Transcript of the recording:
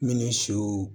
Minnu siw